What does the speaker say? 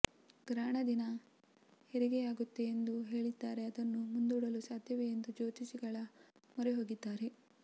ಗ್ರಹಣ ದಿನ ಹೆರಿಗೆಯಾಗುತ್ತೆ ಎಂದು ಹೇಳಿದ್ದಾರೆ ಅದನ್ನು ಮುಂದೂಡಲು ಸಾಧ್ಯವೇ ಎಂದು ಜ್ಯೋತಿಷಿಗಳ ಮೊರೆ ಹೋಗಿದ್ದಾರೆ